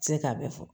Se k'a bɛɛ fɔ